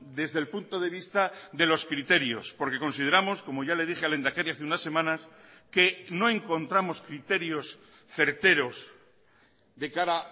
desde el punto de vista de los criterios porque consideramos como ya le dije al lehendakari hace unas semanas que no encontramos criterios certeros de cara